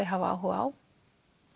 hafa áhuga á